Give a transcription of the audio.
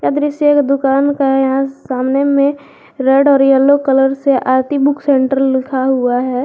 और इसे एक दुकान का सामने में रेड और येलो कलर से आरती बुक सेंटर लिखा हुआ है।